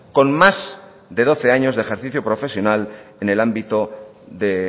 con más de doce años de ejercicio profesional en el ámbito de